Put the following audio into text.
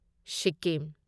Sikkim